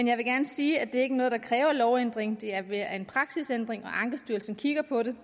jeg vil gerne sige at det ikke er noget der kræver lovændring det er mere en praksisændring og ankestyrelsen kigger på det